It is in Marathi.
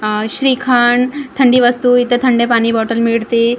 अह श्रीखंड थंडी वस्तू इथे थंड पाणी बॉटल मिळते.